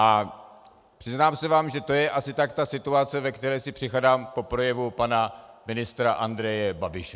- A přiznám se vám, že to je asi tak ta situace, ve které si připadám po projevu pana ministra Andreje Babiše.